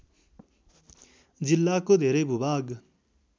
जिल्लाको धेरै भूभाग